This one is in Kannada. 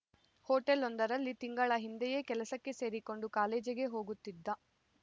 ಹೋಟೆಲೊಂದರಲ್ಲಿ ತಿಂಗಳ ಹಿಂದೆಯೇ ಕೆಲಸಕ್ಕೆ ಸೇರಿಕೊಂಡು ಕಾಲೇಜಿಗೆ ಹೋಗುತ್ತಿದ್ದ